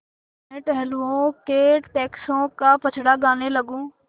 अपने टहलुओं के टैक्सों का पचड़ा गाने लगूँ